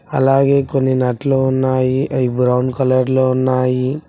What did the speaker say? అలాగే కొన్ని నట్లు ఉన్నాయి అవి బ్రౌన్ కలర్లో ఉన్నాయి.